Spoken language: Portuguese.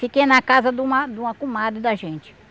Fiquei na casa de uma de uma comadre da gente.